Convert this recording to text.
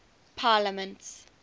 parliaments